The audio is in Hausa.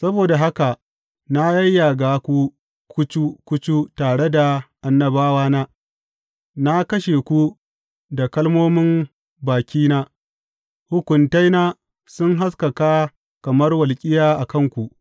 Saboda haka na yayyaga ku kucu kucu tare da annabawana, na kashe ku da kalmomin bakina; hukuntaina sun haskaka kamar walƙiya a kanku.